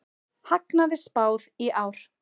Hagnaði spáð í ár